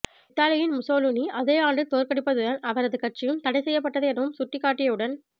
இத்தாலியின் முசோலினி அதே ஆண்டில் தோற்கடிக்கப்பட்டதுடன் அவரது கட்சியும் தடை செய்யப்பட்டது எனவும் சுட்டிக்காட்டியுடன்